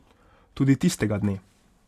Tudi tistega dne.